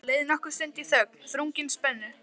Það leið nokkur stund í þögn, þrungin spennu.